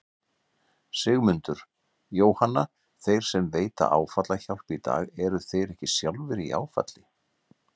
Sigmundur: Jóhanna, þeir sem veita áfallahjálp í dag eru þeir ekki sjálfir í áfalli?